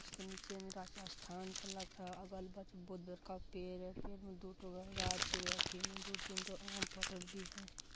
इसके नीचे मे स्थान का लग रहा है अगल-बगल बहुत बड़का पेड़ है पेड़ में दू ठो गाछी गाछी में दु तीन ठो आम फरल भी हेय।